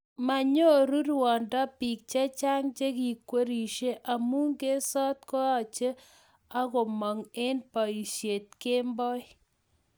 manyoruu ruondo biik chechang cheikwerishei amu ngetsoot ngoeche agomong eng boisiet kemboi